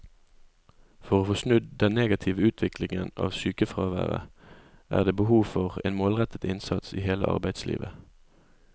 For å få snudd den negative utviklingen av sykefraværet er det behov for en målrettet innsats i hele arbeidslivet.